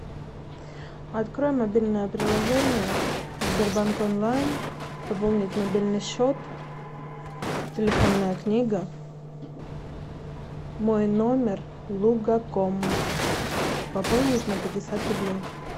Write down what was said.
открой мобильное приложение сбербанк онлайн пополнить мобильный счет телефонная книга мой номер лугаком пополнить на пятьдесят рублей